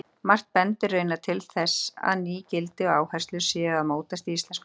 Margt bendir raunar til að ný gildi og áherslur séu að mótast í íslensku samfélagi.